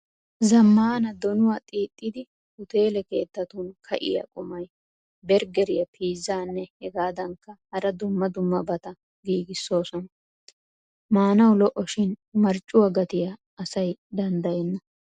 Zamaana donuwaa xiixidi utele keettattun ka'iyaa qumay bergeriyaa piizzanne hegadankka hara dumma dummabata giigisosona. Maanawu lo'o shin marccuwaa gatiyaa asay danddayena.